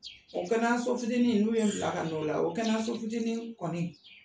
Nka kɛnɛyaso fitini n'u ye bila ka n'o la o kɛnɛyaso fitini kɔni